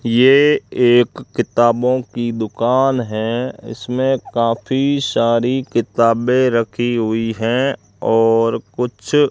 ये एक किताबों की दुकान है इसमें काफी सारी किताबें रखी हुई हैं और कुछ--